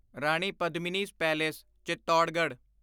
Rani Padmini's palace Chittorgarh